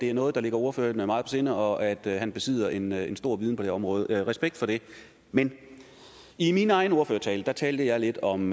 det er noget der ligger ordføreren meget på sinde og at han besidder en en stor viden på det her område respekt for det men i min egen ordførertale talte jeg lidt om